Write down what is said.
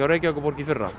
í fyrra